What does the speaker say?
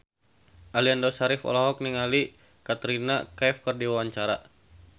Aliando Syarif olohok ningali Katrina Kaif keur diwawancara